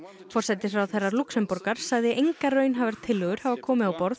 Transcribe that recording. forsætisráðherra Lúxemborgar sagði engar raunhæfar tillögur hafa komið á borð